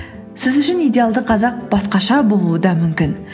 сіз үшін идеалды қазақ басқаша болуы да мүмкін